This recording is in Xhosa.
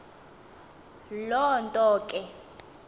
loo nto ke